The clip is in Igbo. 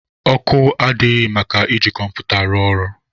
Ọkụ adịghị maka iji kọmputa rụọ ọrụ.